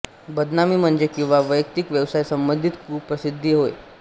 बदनामी म्हणजे किंवा वैयक्तिक व्यवसाय संबंधित कुप्रसिद्धी होय